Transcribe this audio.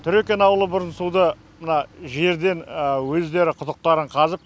трекин ауылы бұрын суды мына жерден өздері құдықтарын қазып